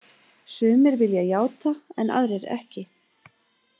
Sumir vilja játa en aðrir ekki.